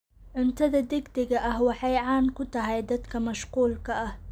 Cuntada degdega ah waxay caan ku tahay dadka mashquulka ah.